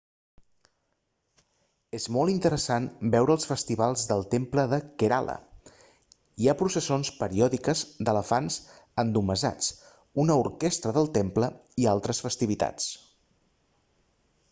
és molt interessant veure els festivals del temple de kerala hi ha processons periòdiques d'elefants endomassats una orquestra del temple i altres festivitats